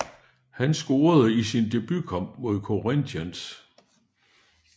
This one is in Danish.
Han scorede i sin debut kamp imod Corinthians